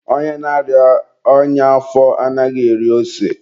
onye na-arịa ọnya afọ anaghị eri ose.